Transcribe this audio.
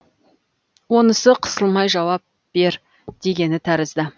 онысы қысылмай жауап бер дегені тәрізді